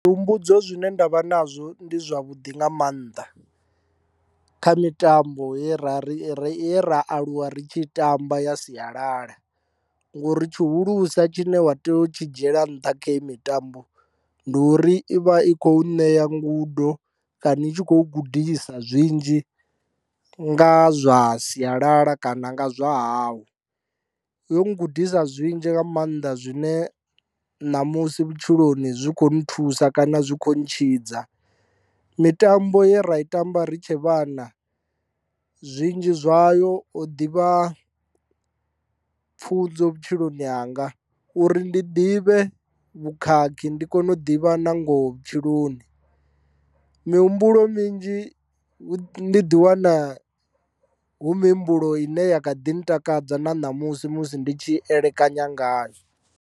Zwuhumbudzo zwine nda vha nazwo ndi zwavhuḓi nga maanḓa kha mitambo ye ra ri ri ye ra aluwa ri tshi tamba ya sialala ngori tshihulusa tshine wa tea u tshi dzhiela nṱha kha hei mitambo ndi uri ivha i kho ṋea ngudo kana i tshi khou gudisa zwinzhi nga zwa sialala kana nga zwa hau, yo gudisa zwinzhi nga maanḓa zwine ṋamusi vhutshiloni zwi kho nthusa kana zwi kho ntshidza mitambo ye ra i tamba ri tshe vhana zwinzhi zwayo ho ḓivha pfhunzo vhutshiloni hanga uri ndi ḓivhe vhukhakhi ndi kone u ḓivha na ngoho vhutshiloni mihumbulo minzhi ndi di wana hu mihumbulo ine ya kha ḓi ntakadza na ṋamusi musi ndi tshi elekanyani ngayo.